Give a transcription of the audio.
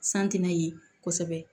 San tɛna ye kosɛbɛ